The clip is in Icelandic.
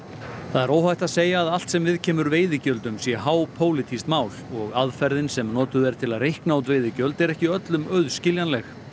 það er óhætt að segja allt sem viðkemur veiðigjöldum sé hápólitískt mál og aðferðin sem notuð er til að reikna út veiðigjöld er ekki öllum auðskiljanleg